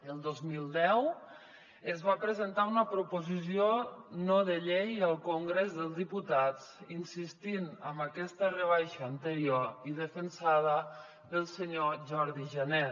el dos mil deu es va presentar una proposició no de llei al congrés dels diputats insistint en aquesta rebaixa anterior i defensada pel senyor jordi jané